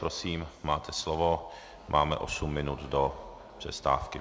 Prosím, máte slovo, máme osm minut do přestávky.